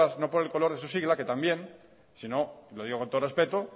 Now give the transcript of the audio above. no por el color de su sigla que también sino lo digo con todo el respeto